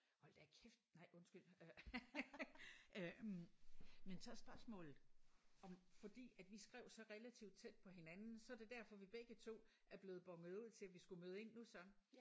Hold da kæft nej undskyld øh øh men så er spørgsmålet om fordi at vi skrev så relativt tæt på hinanden så det derfor vi begge 2 er blevet bonet ud til vi skulle møde nu så